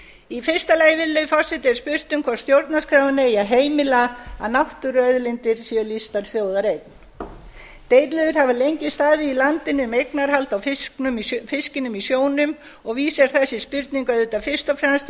í fyrsta lagi virðulegi forseti er spurt um hvort stjórnarskráin eigi að heimila að náttúruauðlindir séu lýstar þjóðareign deilur hafa lengi staðið í landinu um eignarhald á fiskinum í sjónum og vísar þessi spurning auðvitað fyrst og fremst til